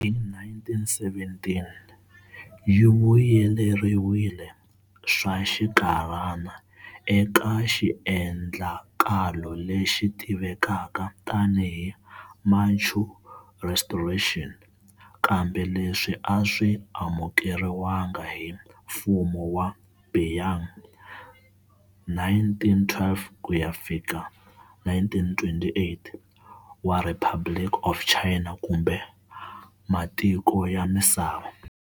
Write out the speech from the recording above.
Hi 1917, yi vuyeleriwile swa xinkarhana eka xiendlakalo lexi tivekaka tani hi Manchu Restoration, kambe leswi aswi amukeriwanga hi mfumo wa Beiyang, 1912-1928, wa Republic of China kumbe matiko ya misava.